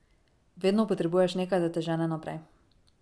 Vedno potrebuješ nekaj, da te žene naprej.